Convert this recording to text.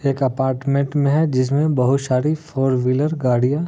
एक अपार्टमेन्ट में है जिसमे बहुत सारी फोर व्हीलर गाड़ियां--